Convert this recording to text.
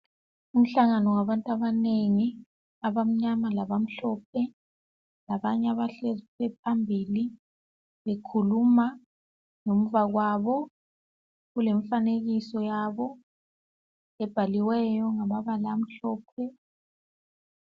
Umhlangano wabantu abanengi abamnyama labamhlopne labanye abahlezi phambili bekhuluma ngemva kwabo kulemifanekiso yabo ebhaliweyo ngamabala amhlophe.